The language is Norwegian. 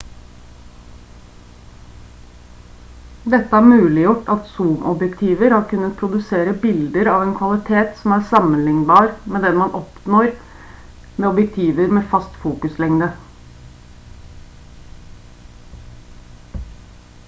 dette har muliggjort at zoomobjektiver har kunnet produsere bilder av en kvalitet som er sammenlignbar med den man oppnår med objektiver med fast fokuslengde